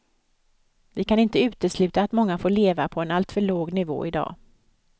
Vi kan inte utesluta att många får leva på en alltför låg nivå i dag.